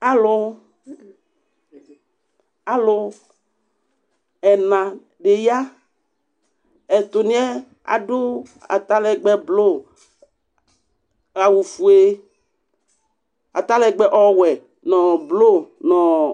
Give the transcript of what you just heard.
Alʋ, alʋ ɛna di ya, ɛtʋni yɛ adʋ atalɛgbɛ blʋ, awʋ fue, atalɛgbɛ ɔwɛ, nʋ blu nʋ ɔɔ